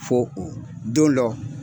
Fo u don dɔ.